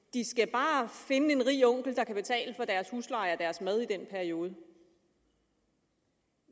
de skal bare finde en rig onkel der kan betale for deres husleje og deres mad i den periode